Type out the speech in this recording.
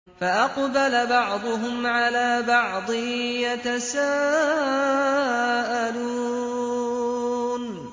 فَأَقْبَلَ بَعْضُهُمْ عَلَىٰ بَعْضٍ يَتَسَاءَلُونَ